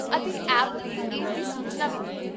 ਅਤੇ ਐਪ 'ਤੇ ਇਸ ਦੀ ਸੂਚਨਾ ਵੀ ਦਿੱਤੀ